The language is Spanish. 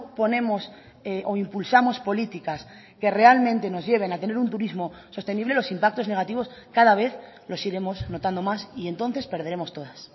ponemos o impulsamos políticas que realmente nos lleven a tener un turismo sostenible los impactos negativos cada vez los iremos notando más y entonces perderemos todas